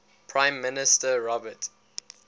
prime minister robert